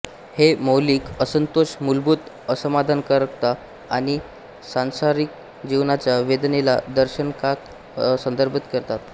हे मौलिक असंतोष मूलभूत असमाधानकारकता आणि सांसारिक जीवनाच्या वेदनेला दर्दनाकता संदर्भित करते